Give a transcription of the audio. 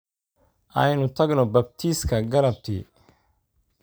Aynu tagno baabtiiska galabtii